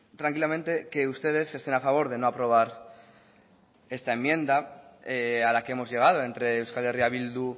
tranquilamente que ustedes estén a favor de no aprobar esta enmienda a la que hemos llegado entre euskal herria bildu